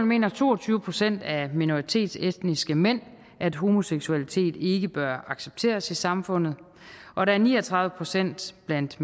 mener to og tyve procent af minoritetsetniske mænd at homoseksualitet ikke bør accepteres i samfundet og der er ni og tredive procent blandt